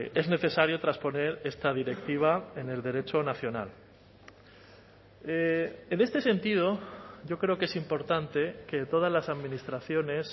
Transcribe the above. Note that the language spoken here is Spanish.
es necesario trasponer esta directiva en el derecho nacional en este sentido yo creo que es importante que todas las administraciones